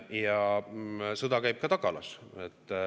Ja sõda käib ka tagalas.